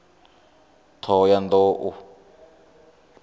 ṱhohoyanḓou